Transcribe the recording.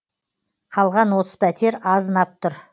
қалған отыз пәтер азынап тұр